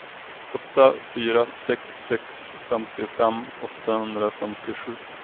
åtta fyra sex sex femtiofem åttahundrafemtiosju